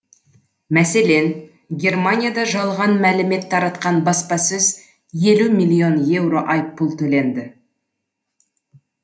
мәселен германияда жалған мәлімет таратқан баспасөз елу миллион еуро айыппұл төленді